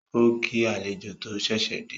Ó kí àlejò tó ṣẹ̀ṣẹ̀ dé